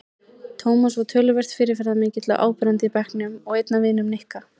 Tómas var töluvert fyrirferðarmikill og áberandi í bekknum og einn af vinum Nikka.